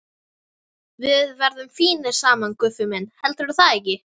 Við verðum fínir saman, Guffi minn, heldurðu það ekki?